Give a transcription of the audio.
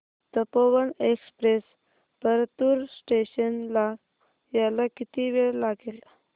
Tapovan express Partur station ला यायला किती वेळ लागेल